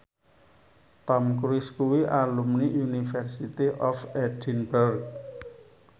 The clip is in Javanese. Tom Cruise kuwi alumni University of Edinburgh